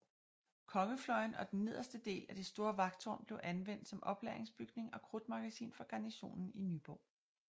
Kongefløjen og den nederste del at det store vagttårn blev anvendt som oplagringsbygning og krudtmagasin for garnisonen i Nyborg